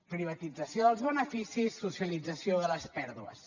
privatització dels beneficis socialització de les pèrdues